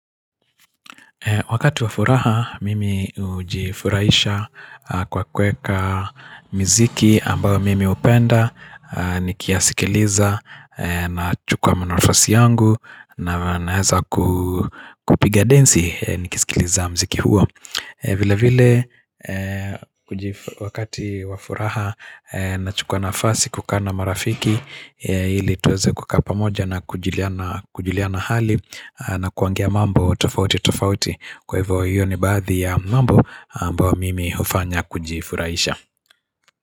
Wakati wafuraha mimi ujifuraisha kwa kuweka mziki ambao mimi upenda Nikiasikiliza nachukwa mnafasi yangu na naeza kupiga densi nikisikiliza mziki huo vile vile wakati wafuraha na chukwa nafasi kukaa na marafiki ili tuweze kukaa pamoja na kujuliana hali na kuangia mambo tofauti tofauti Kwa hivyo hiyo ni baadhi ya mambo ambao mimi ufanya kujifuraisha.